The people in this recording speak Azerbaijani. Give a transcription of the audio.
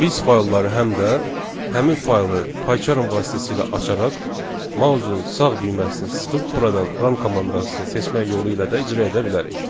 Biz faylları həm də həmin faylı Paycharm vasitəsilə açaraq mousun sağ düyməsini sıxıb buradan run komandasını seçmək yolu ilə də icra edə bilərik.